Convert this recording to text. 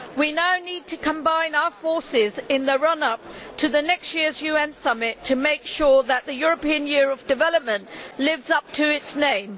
We now need to combine our forces in the run up to next year's UN Summit to make sure that the European Year of Development lives up to its name.